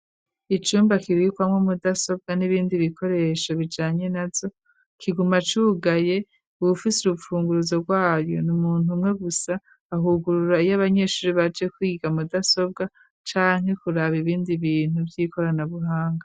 Icumba, kibikwamwo mudasobwa, n'ibindi bikoresho, bijanye nazo, kiguma cugaye; uwufise urupfunguruzo, rwayo ni umuntu, umwe gusa, ahugurura iyo abanyeshure, baje kwiga, mudasobwa, canke kuraba, ibindi bintu, vy'ikoranabuhanga.